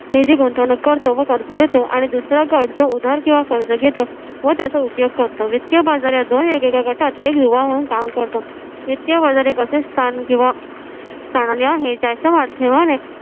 निधी गुंतवणूक करतो व कर्ज देतो आणि दुसरा गट जो उधार किव्हा कर्ज घेतो व त्याचा उपयोग करतो. वित्तीय बाजार या दोन वेगवेगळ्या गटात एक युवा म्हणून काम करतो. वित्तीय बाजार एक असे स्थान किंवा आहे ज्याच्या माध्यमाने